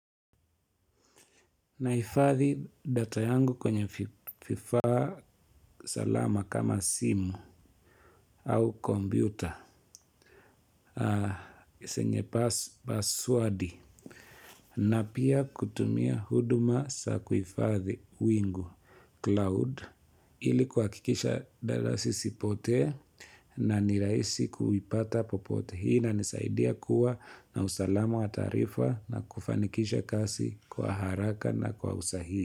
Nahifadhi data yangu kwenye vifaa salama kama simu au kompyuta, zenye password na pia kutumia huduma za kuhifadhi wingu cloud ili kuhakikisha data zisipotee na nirahisia kuipata popote hii inanisaidia kuwa na usalama wa taarifa na kufanikisha kazi kwa haraka na kwa usahihi.